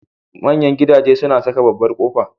Manyan gidaje suna saka babbar kofa.